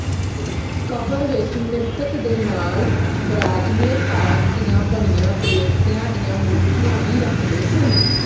ਕਬਰ ਵਿੱਚ ਮਿਰਤਕ ਦੇ ਨਾਲ ਬਰਾਨਜ਼ੇ ਧਾਤ ਦੀਆਂ ਬਣੀਆਂ ਦੇਵਤਿਆਂ ਦੀਆਂ ਮੂਰਤੀਆਂ ਵੀ ਰੱਖਦੇ ਸਨ